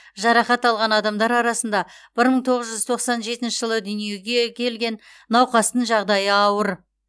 жарақат алған адамдар арасында бір мың тоғыз жүз тоқсан жетінші жылы дүниеге келген науқастың жағдайы ауыр